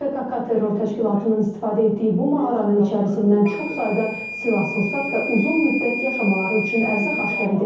PKK terror təşkilatının istifadə etdiyi bu mağaranın içərisindən çox sayda silah-sursat və uzun müddət yaşamaları üçün ərzaq aşkar edilib.